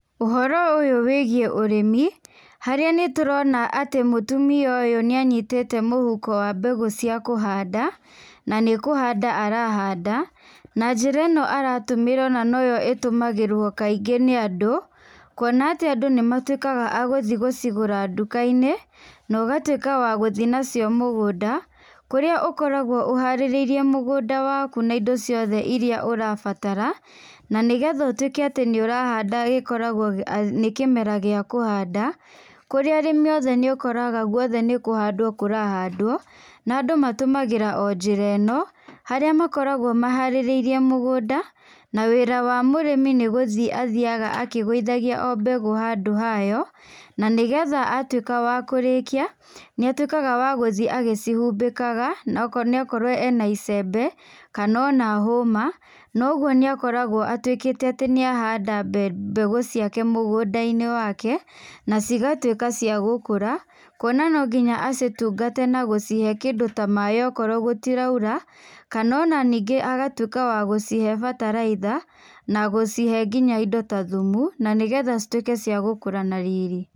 Ũhoro ũyũ wĩgie ũrĩmi harĩa nĩ tũrona atĩ mũtumia ũyũ nĩ anyitĩte mũhuko wa mbegũ cia kũhanda na nĩ kũhanda arahanda na njĩra ĩno aratũmĩra ona noyo ĩtũmagirwo kaingĩ nĩ andũ kwona atĩ andũ nĩmatũĩkaga agũthiĩ gũcigũra duka-inĩ nogatuĩka wa gũthiĩ nacio mũgũnda, kũrĩa ũkoragwo ũharĩrĩirie mũgũnda waku na indo ciothe iria ũrabatara na nĩgetha ũkorwo nĩ ũrahanda gĩkoragwo nĩ kĩmera gĩa kũhanda kũrĩa arĩmi othe ũkoraga nĩ kũhanda kũrahandwo na andũ matũmagĩra o njĩra ĩno harĩa makoragwo maharĩrĩirie mũgũnda na wĩra wa mũrĩmi nĩ gũthiĩ athiaga aklgũithagia o mbegũ handũ hayo, na nĩgetha atuĩka wa kũrĩkia nĩ atuĩkaga wa gũthiĩ agĩcihumbĩkaga ona korwo ena icembe kana ona homa, noguo nĩ akoragwo atĩ nĩ ahanda mbegũ ciake mũgũnda-inĩ wake na cigatuĩka cia gũkũra kwona no nginya acitungate na gũcihe kĩndũ ta maĩ okorwo gũtiraura kana ona ningĩ agatuĩka wa gũcihe bataraitha na gũcihe indo ta thumu na cituĩke indo cia gũkũra na riri.